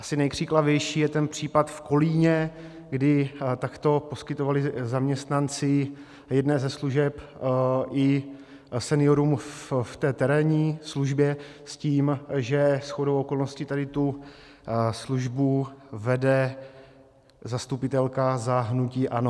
Asi nejkřiklavější je ten případ v Kolíně, kdy takto poskytovali zaměstnanci jedné ze služeb i seniorům v té terénní službě, s tím, že shodou okolností tady tu službu vede zastupitelka za hnutí ANO.